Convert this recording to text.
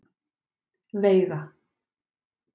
Veiga